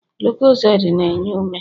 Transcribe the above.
lucozade na-enye ume